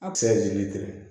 A bɛ se ka jeni